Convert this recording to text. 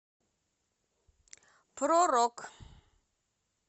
про рок